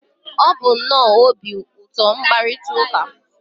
ọ bụ nnọọ obi ụtọ mkparịta ụka